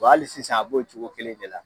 Bɔn Ali sisan a b'o cogo kelen de la